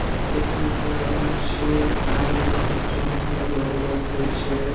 At-- এইখানে একটা ground আছে-এ গ্রাউন্ড -এ অনেকজন নিয়ে ভলিবল খেলছে ।